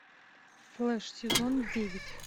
флеш сезон девять